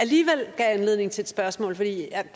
lige gav anledning til et spørgsmål for jeg